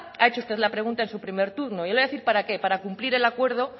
ha hecho usted la pregunta en su primer turno yo le voy a decir para qué para cumplir el acuerdo